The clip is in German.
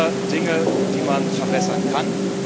Es gibt immer Dinge, die man verbessern kann.